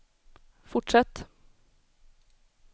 fortsätt